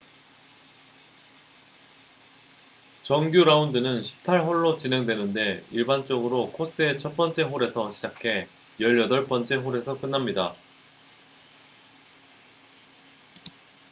정규 라운드는 18홀로 진행되는데 일반적으로 코스의 첫 번째 홀에서 시작해 열여덟 번째 홀에서 끝납니다